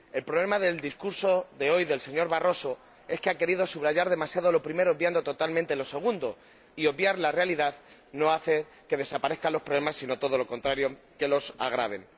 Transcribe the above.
El problema del discurso de hoy del señor Barroso es que ha querido subrayar demasiado lo primero, obviando totalmente lo segundo y obviar la realidad no hace que desaparezcan los problemas, sino todo lo contrario, que los agraven.